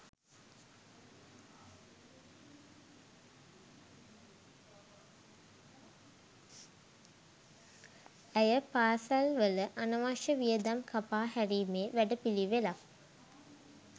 ඇය පාසැල් වල අනවශ්‍ය වියදම් කපා හැරීමේ වැඩපිළිවෙලක්